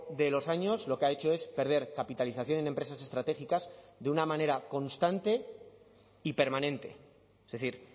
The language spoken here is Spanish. de los años lo que ha hecho es perder capitalización en empresas estratégicas de una manera constante y permanente es decir